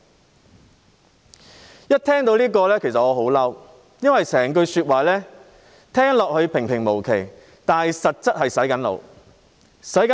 "，其實我一聽到這題目便很生氣，因為整句說話聽起來平平無奇，但實際上是在"洗腦"。